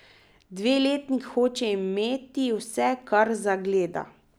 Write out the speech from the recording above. Dveletnik hoče imeti vse, kar zagleda.